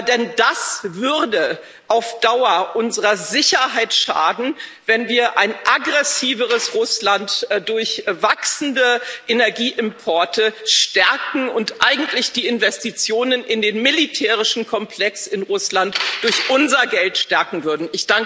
Denn es würde auf Dauer unserer Sicherheit schaden, wenn wir ein aggressiveres Russland durch wachsende Energieimporte stärken und eigentlich die Investitionen in den militärischen Komplex in Russland durch unser Geld stärken würden.